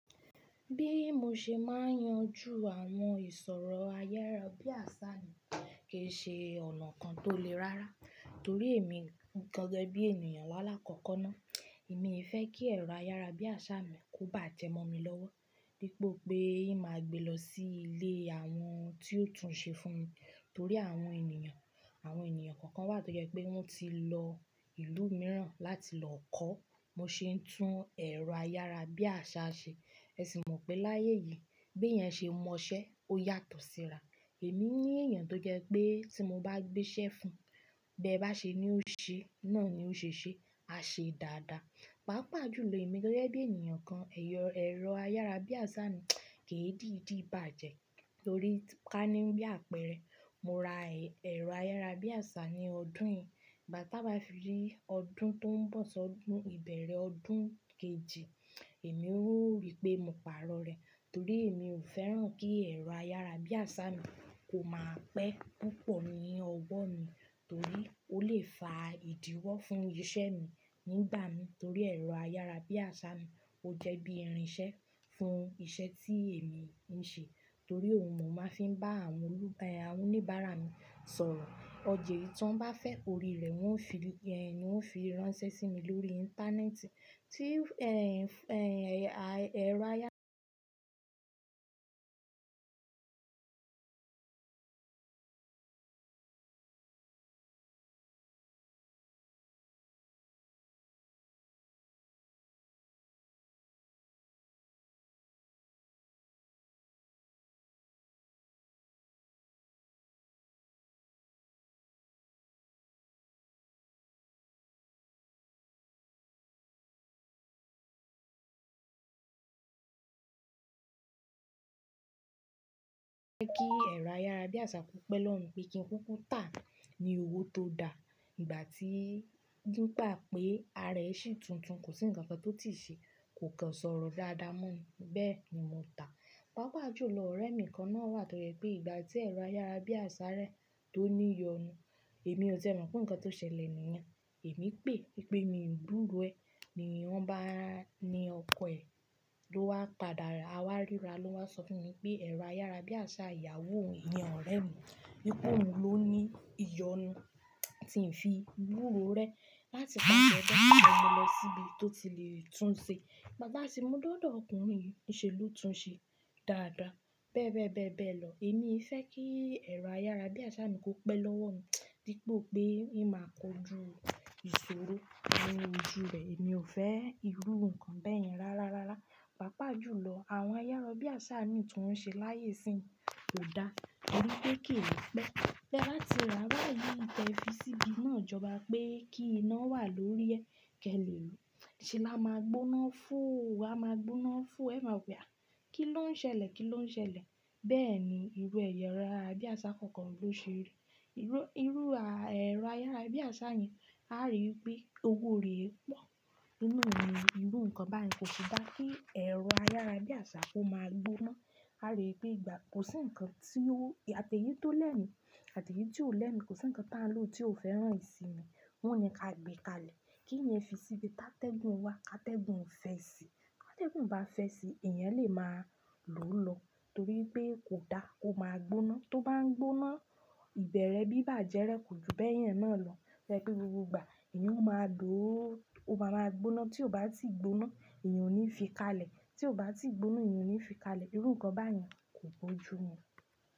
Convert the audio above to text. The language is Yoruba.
Bí mo ṣe máa ń yanjú àwọn ìṣòro ayárábiàsá mi kì í ṣe ọ̀nà kan tó le rára torí èmi gege bí ènìyàn la lákọ́kọ́ ná. Mii fẹ́ kí ẹ̀rọ ayárábiàsá mi kó bajẹ mọ́ mi lọ́wọ́, dípò pé ìn máa gbé lọ sí ilé àwọn tí yóò tún un ṣe fún mi torí àwọn ènìyàn, àwọn ènìyàn kọ̀ọ̀kan wà toje pé wọ́n ti lọ ìlú mìíràn láti lọ kọ́, bi won se ń tún ẹ̀rọ ayárábiàsá ṣe. Ẹ sì mọ̀ pé láyé yìí bí èèyàn ṣe mọ iṣẹ́ ó yàtọ̀ síra. Èmi ní èèyàn tó jẹ́ pé tí mo bá gbé iṣẹ́ fún, bí ẹ bá ṣe ni ó ṣe, náà ni ó ṣe ṣe, a ṣe dáadáa. Pàápàá jù lọ èmi gẹ́gẹ́ bí ènìyàn kan, ẹ̀rọ ayárábiàsá mi kìi dìí dìi bàjẹ́ torí ká ní bí àpẹreẹ, mo ra ẹ̀rọ ayárábiàsá ní ọdún yìí, igbá ti á ba fi rí ọdún tó ń bọ̀, si ọdún ìbẹ̀rẹ̀ ọdún kejì, èmi ó rí pé mo pàrọ̀ rẹ̀ torí èmi ò fẹ́ràn kí ẹ̀rọ ayárábiàsá mi kó máa pẹ́ púpọ̀ ní ọwọ́ mi torí ó lè fa ìdíwọ́ fún iṣẹ́ mi nígbà mii torí ẹ̀rọ ayárábiàsá mi ó jẹ́ bí ẹrin ṣẹ́ fún iṣẹ́ tí èmi ń ṣe torí òhun mo máa ń fi bá àwọn oníbàárà mi sọ̀rọ̀. Ọ̀ja eyi tí wọ́n bá fẹ́ orí rẹ̀, wọ́n ó fi, ni won ó fi ránṣẹ́ sí mi lórí íńtánẹ́ẹ̀tì. Tí ẹ̀rọ ayárábiàsá ń jẹ́ kí ẹ̀rọ ayárábiàsá kó pẹ́ lọ́wo mi pé kí n kúkú tà á ni owó tó da. Ìgbà tí, nígbà pé ara ẹ ṣì tuntun, kò sí nǹkan kan tí ó ti ṣe, kò kàn sọ̀rọ̀ dáadáa mọ́ ni, bẹ́ẹ̀ ni mo tà á. Pàápàá jù lọ ọ̀rẹ́mi kan náà wà toje pé ìgbà tí ẹ̀rọ ayárábiàsá rẹ̀ tó ní iyonu, èmi ò tiẹ̀ mọ̀ pé nǹkan tó ṣẹlẹ̀ nìyẹn. Èmi pè wipé mí o gburo ẹ, ni wọ́n bá ní ọkọ ẹ ló wá padà, a wá rira lo wa sọ fún mi pé ẹ̀rọ ayárábiàsá ìyàwó òhun, iyen ọ̀rẹ́ mi, wípé òhun ló ní iyonu tí ń fi gbúro rẹ láti ipase be mo mú lọ síbi tó ti le tún ṣe. Igbá ti a sì mú dòdò ọkùnrin yìí nise ló tún un ṣe dáadáa. Bẹ́ẹ̀ bẹ́ẹ̀ bẹ́ẹ̀ lọ. Èmi fẹ́ kí ẹ̀rọ ayárábiàsá mi kó pẹ́ lọ́wọ́ mi dipò pé ìn máa kojú ìṣòro ni ojú rẹ̀. Èmi ò fẹ́ rí irú nǹkan bẹ́yẹn rárá rárá. Pàápàá jù lọ àwọn ayárábiàsá mii tí wọ́n ṣe láyé ìsín kò dá torí pé kìi pẹ́. Ti e bati rà báyìí tẹ fi síbi ino ijọba pé kí iná wà lórí ẹ kì ẹ le ri ú. Ṣé là máa gbóná foo? A máa gbóná foo, ẹ máa wo pe à kí ló ń ṣẹlẹ̀? Kí ló ń ṣẹlẹ̀?" Bẹ́ẹ̀ ni irú ẹ̀rọ ayárábiàsá kọ̀ọ̀kan ló ṣe rí. Irú ẹ̀rọ ayárábiàsá yẹn a rí wípé owó rẹ̀ e pọ̀ nínú òwe. Irú nǹkan báyen kò sì dáa kí ẹ̀rọ ayárábiàsá kó máa gbóná. A rí wipé ìgbà, kò sí nǹkan tí ó, àti èyí tó lẹ́mi àti èyí tí ò lẹ́mi, kò sí nǹkan táń lọ tí ò fẹ́ràn ìsinmi. Wọ́n o ni ká gbé ká ilẹ̀. Kí emi fi síbi ti tá tẹ́gùn wá ká tẹ́gùn fẹ́ síi. Ti atẹ́gùn bá fẹ́ sí i, èèyàn lè máa lo lóòlo torí pé kò dáa kó máa gbóná. Tó bá ń gbóná, ìbẹ̀rẹ̀ bí bá jẹ́ rẹ̀ kò ju bẹ́yẹn náà lọ. Tojẹ̀ pé gbogbo ìgbà èèyàn ó máa lò ó, ó máa máa gbóná. Tí ó bá ti gbóná èèyàn ò ní fi ká lè. Tí ó bá ti gbóná èèyàn ò ní fi ká lè. Irú nǹkan báyen kò bójú mu.